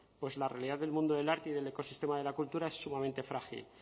pues la realidad del mundo del arte y del ecosistema de la cultura es sumamente frágil